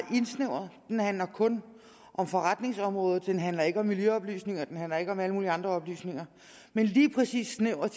indsnævret den handler kun om forretningsområdet den handler ikke om miljøoplysninger den handler ikke om alle mulige andre oplysninger men lige præcis snævret